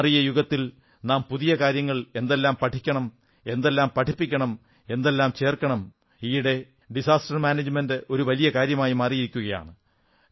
മാറിയ യുഗത്തിൽ നാം പുതിയ പുതിയ കാര്യങ്ങൾ എന്തെല്ലാം പഠിക്കണം എന്തെല്ലാം പഠിപ്പിക്കണം എന്തെല്ലാം ചേർക്കണം ഈയിടെ ഡിസാസ്റ്റർ മാനേജ്മെന്റ് ഒരു വലിയ കാര്യമായി മാറിയിരിക്കയാണ്